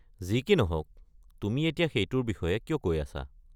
যি কি নহওক, তুমি এতিয়া সেইটোৰ বিষয়ে কিয় কৈ আছা?